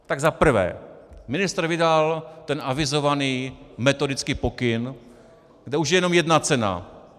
Tak za prvé, ministr vydal ten avizovaný metodický pokyn, kde už je jenom jedna cena.